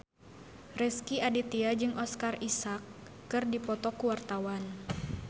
Rezky Aditya jeung Oscar Isaac keur dipoto ku wartawan